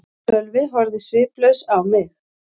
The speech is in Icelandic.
Sölvi horfði sviplaus á mig.